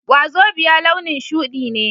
Wazobia launin shudi ne